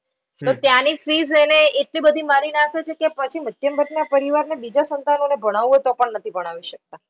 તો ત્યાંની fees એટલી બધી મારી નાખે છે કે પછી મધ્યમ વર્ગના પરિવારને બીજા સંતાનોને ભણાવું હોય તો પણ નથી ભણાવી શકતા.